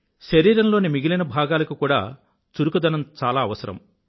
శరీరంలోని మిగిలిన భాగాలకు కూడా చురుకుదనం అవసరం